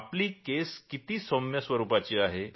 आपली केस अगदी सौम्य स्वरूपाची आहे